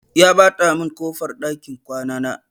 Ya ɓata min ƙofar ɗakin kwana na.